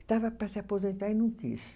Estava para se aposentar e não quis.